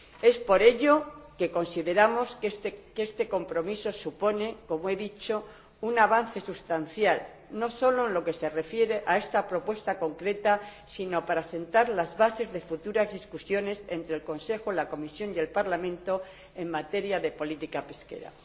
Es por ello que consideramos que este compromiso supone, como he dicho, un avance sustancial, no solo en lo que se refiere a esta propuesta concreta, sino para sentar las bases de futuras discusiones entre el Consejo, la Comisión y el Parlamento en materia de política pesquera.